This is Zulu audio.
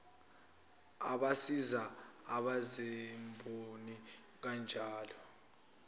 abasiza abezimboni kanjalo